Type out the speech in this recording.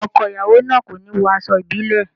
Ọkọ ìyàwó náà kò ní wọ aṣọ ìbílẹ̀.